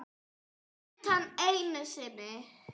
Utan einu sinni.